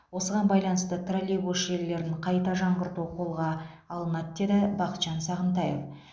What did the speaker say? осыған байланысты троллейбус желілерін қайта жаңғырту қолға алынады деді бақытжан сағынтаев